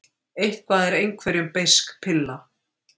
Eitthvað er einhverjum beisk pilla